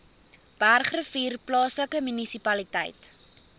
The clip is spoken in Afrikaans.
bergrivier plaaslike munisipaliteit